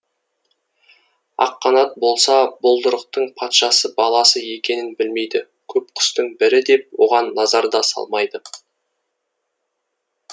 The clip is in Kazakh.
аққанат болса бұлдырықтың патша баласы екенін білмейді көп құстың бірі деп оған назар да салмайды